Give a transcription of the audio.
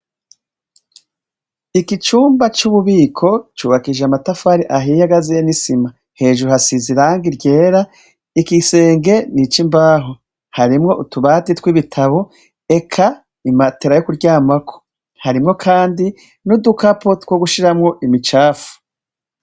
Iki cumba c'ububiko cubakishije amatafari ahiye agaziye n'isima hejuru hasizi irangi ryera ikisenge nic'imbaho harimwo utubati tw'ibitabo eka imatera yo kuryamako harimwo kandi n'udukapo two gushiramwo imicafu.